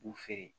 U b'u feere